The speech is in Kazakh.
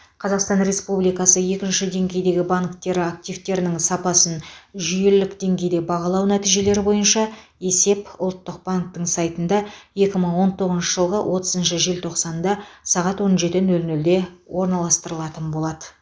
қазақстан республикасы екінші деңгейдегі банктері активтерінің сапасын жүйелік деңгейде бағалау нәтижелері бойынша есеп ұлттық банктің сайтында екі мың он тоғызыншы жылғы отызыншы желтоқсанда сағат он жеті нөл нөлде орналастырылатын болады